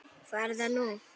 Hvað er það nú?